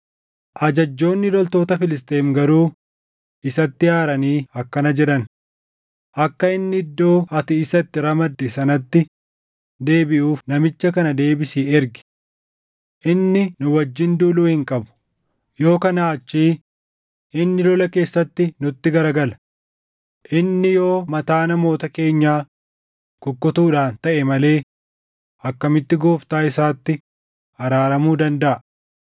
Ajajjoonni loltoota Filisxeem garuu isatti aaranii akkana jedhan; “Akka inni iddoo ati isa itti ramadde sanatti deebiʼuuf namicha kana deebisii ergi. Inni nu wajjin duuluu hin qabu; yoo kanaa achii inni lola keessatti nutti garagala. Inni yoo mataa namoota keenyaa kukkutuudhaan taʼe malee akkamitti gooftaa isaatti araaramuu dandaʼa?